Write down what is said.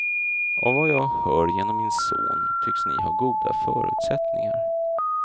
Av vad jag hör genom min son, tycks ni ha goda förutsättningar.